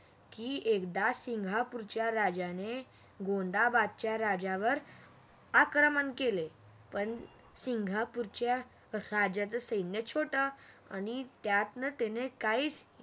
की एकदा सिंगापूरच्या राजाने गोंधाबदच्या राजावर आक्रमण केले. पण सिंगापूरच्या राजाचे सैन्य छोट आणि त्यातन त्याने काहीच